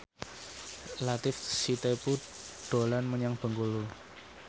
Latief Sitepu dolan menyang Bengkulu